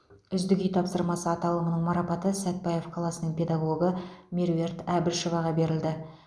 үздік үй тапсырмасы аталымының марапаты сәтбаев қаласының педагогы меруерт әбішеваға берілді